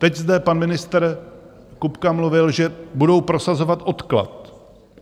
Teď zde pan ministr Kupka mluvil, že budou prosazovat odklad.